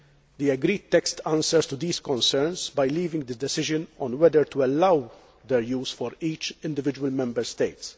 The agreed text answers these concerns by leaving the decision on whether to allow their use to each individual Member State.